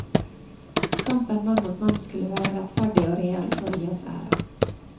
Kampen mann mot mann skulle være rettferdig og real for å gi oss ære.